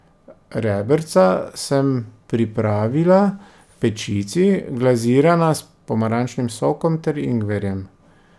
Rebrca sem pripravila v pečici, glazirana s pomarančnim sokom ter ingverjem.